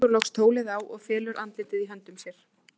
Hún leggur loks tólið á og felur andlitið í höndum sér.